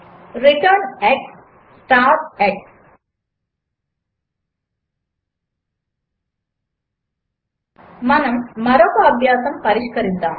return x star x మనము మరొక అభ్యాసము పరిష్కరిద్దాము